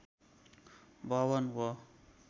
भवन हो